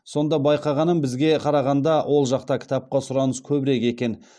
сонда байқағаным бізге қарағанда ол жақта кітапқа сұраныс көбірек екен